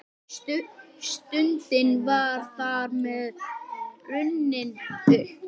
Stundin var þar með runnin upp.